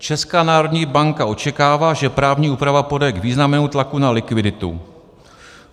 Česká národní banka očekává, že právní úprava povede k významnému tlaku na likviditu.